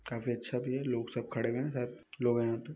काफी अच्छा भी है लोग सब खड़े हुए है सब लोग है यहाँ पे--